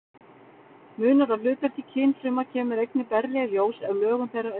Munur á hlutverki kynfruma kemur einnig berlega í ljós ef lögun þeirra er skoðuð.